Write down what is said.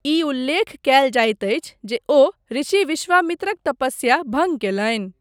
ई उल्लेख कयल जाइत अछि जे ओ ऋषि विश्वामित्रक तपस्या भङ्ग कयलनि।